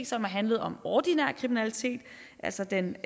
som har handlet om ordinær kriminalitet altså den